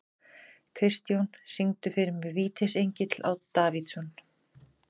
Kristjón, syngdu fyrir mig „Vítisengill á Davidson“.